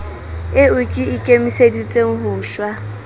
eo ke ikemiseditseng ho shwa